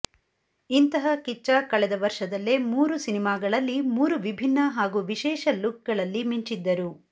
ಇಂತಹ ಕಿಚ್ಚ ಕಳೆದ ವರ್ಷದಲ್ಲೇ ಮೂರು ಸಿನಿಮಾಗಳಲ್ಲಿ ಮೂರು ವಿಭಿನ್ನ ಹಾಗೂ ವಿಶೇಷ ಲುಕ್ಗಳಲ್ಲಿ ಮಿಂಚಿದ್ದರು